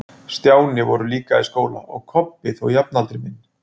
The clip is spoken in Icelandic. Stjáni voru líka í skóla, og var Kobbi þó jafnaldri minn.